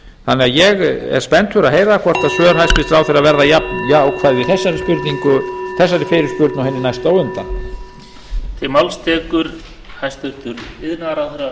þannig að ég er spenntur að heyra hvort svör hæstvirtur ráðherra verða jafn jákvæð í þessari fyrirspurn og hinni næstu á undan